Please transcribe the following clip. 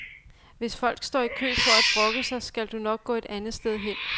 Hvis folk står i kø for at brokke sig, skal du nok gå et andet sted hen.